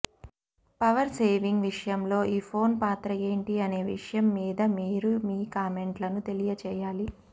power saving విషయంలో ఈ phone పాత్ర ఏంటి అనే విషయం మీద మీరు మీ కామెంట్లను తెలియజేయాలి